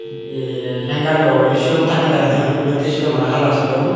ye hangerlloi silum tange tange toyon olotte silum aro hala silum.